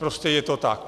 Prostě je to tak.